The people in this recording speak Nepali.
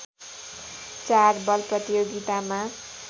चार बल प्रतियोगितामा